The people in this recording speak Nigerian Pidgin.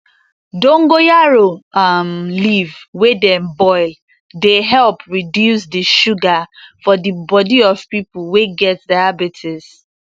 dongoyaro um leaf wey dem boil dey help reduce di sugar for di body of pipo wey get diabetes